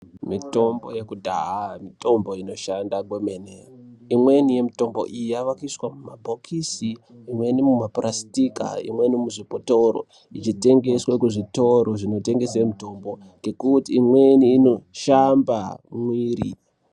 Mitombo yekudhaya mitombo inoshanda kwemene. Imweni yemutombo iyi yavakuiswa mumabhokisi, imweni mumapurasitika, imweni muzvibhotoro ichitengeswa kuzvitoro zvinotengese mitombo ngekuti imweni inoshamba mwiri.